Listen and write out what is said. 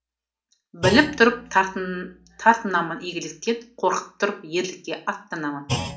біліп тұрып тартынам игіліктен қорқып тұрып ерлікке аттанамын